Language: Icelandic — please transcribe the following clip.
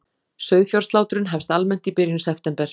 Sauðfjárslátrun hefst almennt í byrjun september